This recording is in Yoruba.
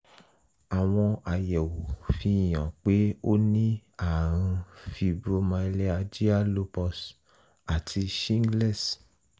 àwọn àyẹ̀wò fi hàn pé ó ní ààrùn fibromyalgia lupus àti shingles